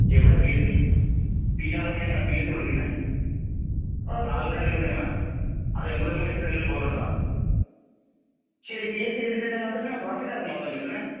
എവിടെ PSC,? P R O ഒക്കെ എങ്ങനെയാ പിഎസ്സി വിളിക്കുന്നെ? താൽക്കാലിക നിയമനം.അത് എംപ്ളോയ്മെന്റ് എക്സ്ചേഞ്ച് വഴി ൽ പോവേണ്ടതാ. ശരി പിഎസ്സി എഴുതിക്കഴിഞ്ഞാല്‍ അത് എങ്ങനെയാ പാർട്ടിക്കാർക്ക് മാത്രം കിട്ടുന്നെ?